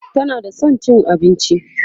tana da San cin abinci